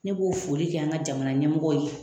Ne b'o foli kɛ an ka jamana ɲɛmɔgɔw ye